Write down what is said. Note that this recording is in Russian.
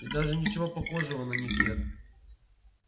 и даже ничего похожего на них нет